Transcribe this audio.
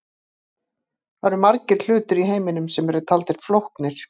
Það eru margir hlutir í heiminum sem eru taldir flóknir.